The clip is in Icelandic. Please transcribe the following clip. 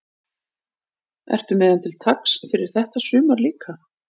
Ertu með hann til taks fyrir þetta sumar líka?